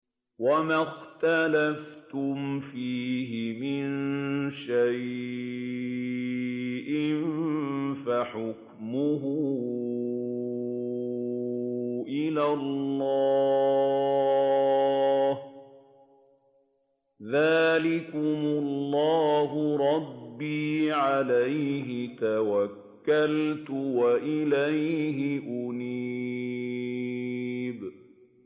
وَمَا اخْتَلَفْتُمْ فِيهِ مِن شَيْءٍ فَحُكْمُهُ إِلَى اللَّهِ ۚ ذَٰلِكُمُ اللَّهُ رَبِّي عَلَيْهِ تَوَكَّلْتُ وَإِلَيْهِ أُنِيبُ